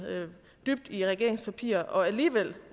dybt i regeringens papirer og alligevel